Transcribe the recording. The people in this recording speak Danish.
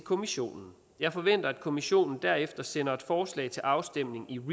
kommissionen jeg forventer at kommissionen derefter sender et forslag til afstemning i